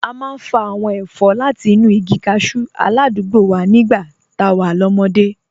A máa ń fa àwọn ẹ̀fọ́ láti inú igi cashew aládùúgbò wa nígbà tá a wà lọ́mọdé